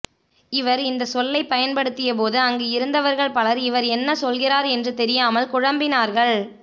இவர் இந்த சொல்லை பயன்படுத்திய போது அங்கு இருந்தவர்கள் பலர் இவர் என்ன சொல்கிறார் என்று தெரியாமல் குழம்பினார்கள்